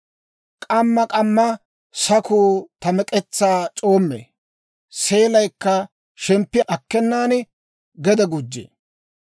K'amma k'amma sakuu ta mek'etsaa c'oommee; seelaykka shemppi akkennan gede gujjee.